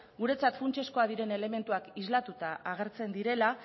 guretzat funtsezkoak diren elementuak islatuta agertzen direla